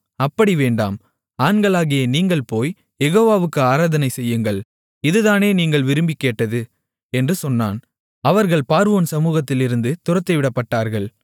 அப்படி வேண்டாம் ஆண்களாகிய நீங்கள் போய் யெகோவாவுக்கு ஆராதனை செய்யுங்கள் இதுதானே நீங்கள் விரும்பிக் கேட்டது என்று சொன்னான் அவர்கள் பார்வோன் சமுகத்திலிருந்து துரத்திவிடப்பட்டார்கள்